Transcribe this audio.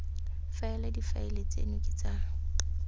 faela difaele tseno ke tsa